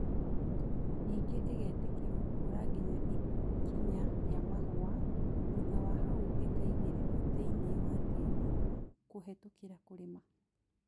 Nĩngĩ ĩgetĩkĩrio gũkũra nginya ikinya rĩa mahũa, thutha wa hau ĩkaingĩrio thĩinĩ wa tĩri kũhetũkĩra kũrĩma